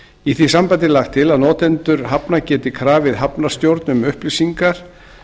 í því sambandi er lagt til að notendur hafna geti krafið hafnarstjórn um upplýsingar